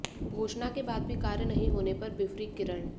घोषणा के बाद भी कार्य नहीं होने पर बिफरीं किरण